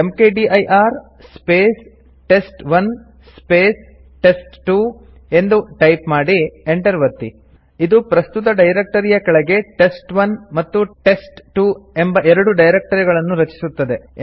ಮ್ಕ್ದಿರ್ space test one space test two ಎಂದು type ಮಾಡಿ Enter ಒತ್ತಿ ಇದು ಪ್ರಸ್ತುತ ಡೈರೆಕ್ಟರಿಯ ಕೆಳಗೆ ಟೆಸ್ಟ್1 ಮತ್ತು ಟೆಸ್ಟ್2 ಎಂಬ ಎರಡು ಡೈರಕ್ಟರಿಗಳನ್ನು ರಚಿಸುತ್ತದೆ